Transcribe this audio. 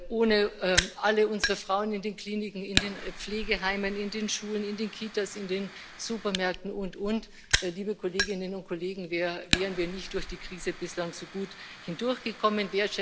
Ohne alle unsere Frauen in den Kliniken, in den Pflegeheimen, in den Schulen, in den Kitas, in den Supermärkten und und und, liebe Kolleginnen und Kollegen, wären wir durch die Krise bislang nicht so gut hindurchgekommen.